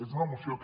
és una moció que